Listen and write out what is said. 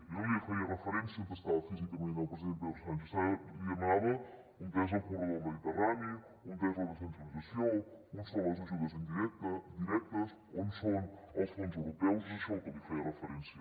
jo no li feia referència a on estava físicament el president pedro sánchez li demanava on és el corredor del mediterrani on és la descentralització on són les ajudes directes on són els fons europeus és a això al que li feia referència